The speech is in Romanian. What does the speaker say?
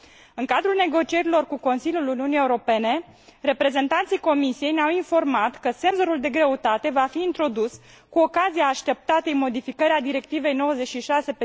În cadrul negocierilor cu Consiliul Uniunii Europene, reprezentanții Comisiei ne au informat că senzorul de greutate va fi introdus cu ocazia așteptatei modificări a Directivei 96